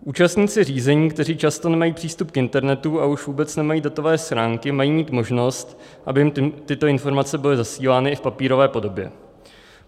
Účastníci řízení, kteří často nemají přístup k internetu a už vůbec nemají datové schránky, mají mít možnost, aby jim tyto informace byly zasílány i v papírové podobě.